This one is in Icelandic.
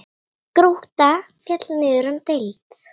Grótta féll niður um deild.